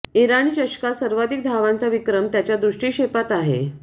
इराणी चषकात सर्वाधिक धावांचा विक्रम त्याच्या दृष्टीक्षेपात आहे